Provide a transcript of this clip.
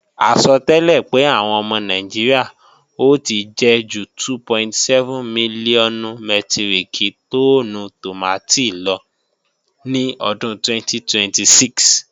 Àsọtẹ́lẹ̀ pé àwọn ọmọ Nàìjíríà ò ti jẹ ju 2.7 mílíọ̀nù mẹ́tíríkì tọ́ọ́nù tòmátì lọ ní ọdún 2026